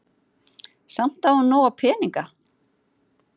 Samt á hún nóga peninga.